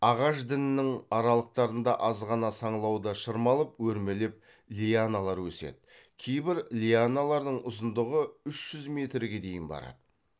ағаш діңінің аралықтарында аз ғана саңылауда шырмалып өрмелеп лианалар өседі кейбір лианалардың ұзындығы үш жүз метрге дейін барады